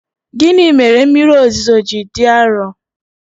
Gịnị mere mmiri ozuzo ji dị arọ?